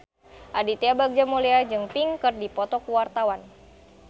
Aditya Bagja Mulyana jeung Pink keur dipoto ku wartawan